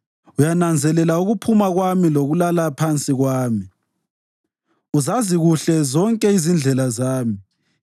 Uyananzelela ukuphuma kwami lokulala phansi kwami; uzazi kuhle zonke izindlela zami.